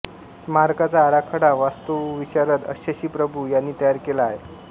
स्मारकाचा आराखडा वास्तुविशारद शशी प्रभू यांनी तयार केला आहे